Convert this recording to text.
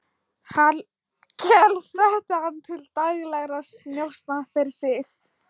Hallkel setti hann til daglegra njósna fyrir sig.